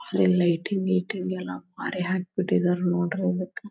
ಇಲ್ಲಿ ಲೈಟಿಂಗ್ ಗಿಟಿಂಗ್ ಎಲ್ಲಾ ಬಾರಿ ಹಾಕ್ ಬಿಟ್ಟಿದರ್ ನೋಡ್ರಿ ಅದಕ್.